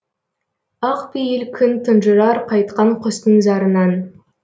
ақ пейіл күн тұнжырар қайтқан құстың зарынан